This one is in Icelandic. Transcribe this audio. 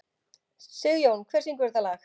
Sigjón, hver syngur þetta lag?